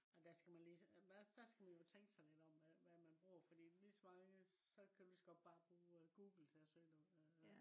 og der skal man lige der skal man jo tænke sig lidt om hvad man bruger fordi lige så mange så kan du ligeså godt bruge google til at søge noget